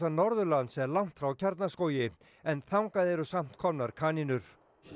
Norðurlands er langt frá Kjarnaskógi en þangað eru samt komnar kanínur